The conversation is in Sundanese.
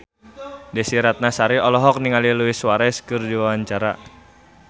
Desy Ratnasari olohok ningali Luis Suarez keur diwawancara